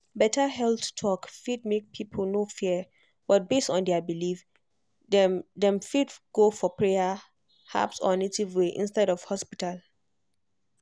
better health talk fit make people no fear but based on their belief dem dem fit go for prayer herbs or native way instead of hospital.